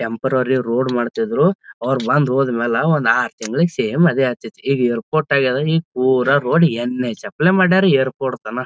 Temporary road ಮಾಡ್ತಿದ್ರು ಅವ್ರ್ ಬಂದ್ ಹೋದ್ಮೇಲೆ ಒಂದ್ ಆರು ತಿಂಗಳು ಸೇಮ್ ಅದೇ ಆಗ್ತಾಯ್ತ್ನಿ ಈಗ ಏರ್ಪೋರ್ಟ್ ಆಗ್ಯಾದ ಇಗ ಪೂರ್ ರೋಡ್ ನಹ್.ಹ್.ಚ್ ಆಪ್ಲ್ಯಾ ಪರಾ ಮಾಡ್ಯಾರ ಏರ್ಪೋರ್ಟ್ ತನ್ .